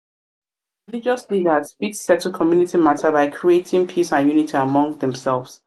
religious leaders fit settle community mata by creating by creating peace and unity among themselves